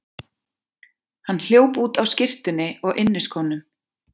Hann hljóp út á skyrtunni og inniskónum.